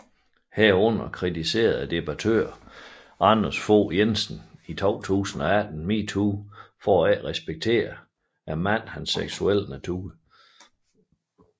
Herunder kritiserede debattøren Anders Fogh Jensen i 2018 MeToo for ikke at respektere mandens seksuelle natur